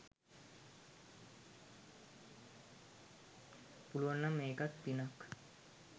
පුළුවන් නම් ඒකත් පිනක්.